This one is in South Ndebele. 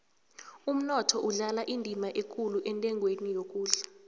umnotho udlala indima ekulu entengweni yokudla